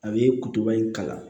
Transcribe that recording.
A bɛ kutoba in kalan